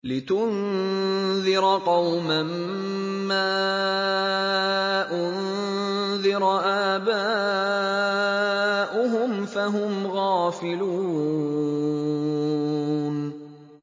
لِتُنذِرَ قَوْمًا مَّا أُنذِرَ آبَاؤُهُمْ فَهُمْ غَافِلُونَ